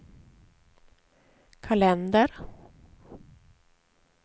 kalender